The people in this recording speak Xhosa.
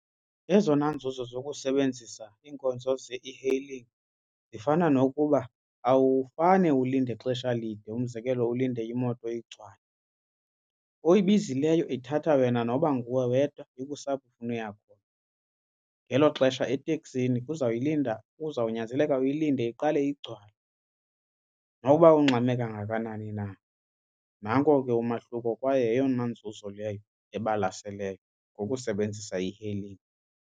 Ezona nzuzo zokusebenzisa iinkonzo ze-e-hailing zifana nokuba awufane ulinde xesha lide umzekelo ulinde imoto igcwale. Oyibizileyo ithatha wena noba nguwe wedwa ikuse apho ufuna ukuya khona ngelo xesha eteksini uzayilinda kuzawunyanzeleka uyilinde iqale igcwale nokuba ungxame kangakanani na. Nanko ke umahluko kwaye yeyona nzuzo leyo ebalaseleyo ngokusebenzisa i-e-hailing.